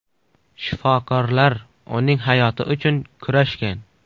Shifokorlar uning hayoti uchun kurashgan.